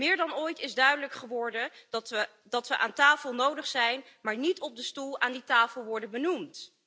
Meer dan ooit is duidelijk geworden dat we aan tafel nodig zijn, maar niet op de stoel aan die tafel worden benoemd.